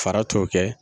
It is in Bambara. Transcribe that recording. Fara t'o kɛ